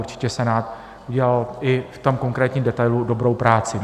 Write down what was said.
Určitě Senát udělal i v tom konkrétním detailu dobrou práci.